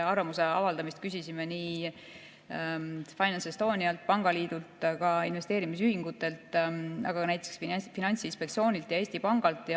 Arvamust küsisime FinanceEstonialt, pangaliidult, investeerimisühingutelt, aga ka näiteks Finantsinspektsioonilt ja Eesti Pangalt.